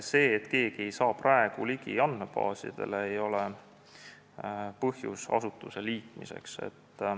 See, et praegu ei saa keegi andmebaasidele ligi, ei ole põhjus asutuste liitmiseks.